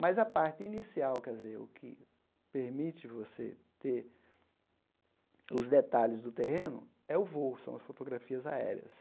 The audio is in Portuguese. Mas a parte inicial, quer dizer o que permite você ter os detalhes do terreno, é o voo, são as fotografias aéreas.